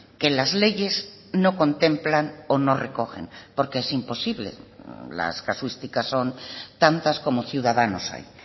que las leyes no contemplan o no recogen porque es imposible las casuísticas son tantas como ciudadanos hay